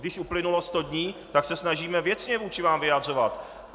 Když uplynulo sto dní, tak se snažíme věcně vůči vám vyjadřovat.